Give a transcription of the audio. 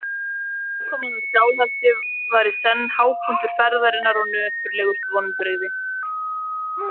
Aðkoman að Skálholti var í senn hápunktur ferðarinnar og nöturlegust vonbrigði.